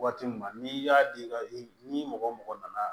Waati min na n'i y'a di ka ni mɔgɔ mɔgɔ nana